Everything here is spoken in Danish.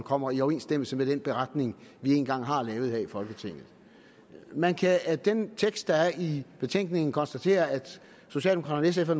kommer i overensstemmelse med den beretning vi en gang har lavet her i folketinget man kan af den tekst der er i betænkningen konstatere at socialdemokraterne og